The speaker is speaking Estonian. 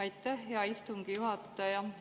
Aitäh, hea istungi juhataja!